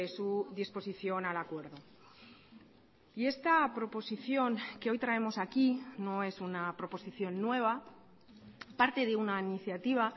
su disposición al acuerdo y esta proposición que hoy traemos aquí no es una proposición nueva parte de una iniciativa